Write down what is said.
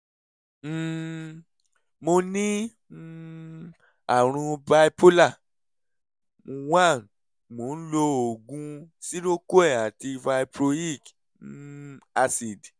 um mo ní um àrùn bipolar one mo ń lo oògùn seroquel àti valproic um acid